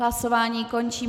Hlasování končím.